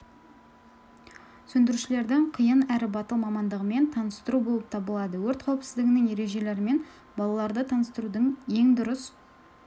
сөндірушілердің қиын әрі батыл мамандығымен таныстыру болып табылады өрт қауіпсіздігінің ережелерімен балаларды таныстырудың ең дұрыс